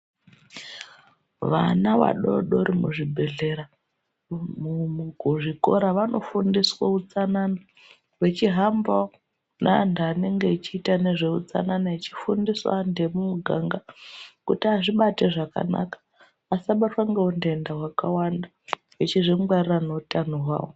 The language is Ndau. Vana vadodori muzvibhehlera, kuzvikora vanofundiswa utsanana vechihamba neantu anenge echiita nezveutsanana echifundisawo antu emumuganga kuti azvibate zvakanaka asabatwa ngeunhenta hwakawanda echizvingwarira neutano hwavo.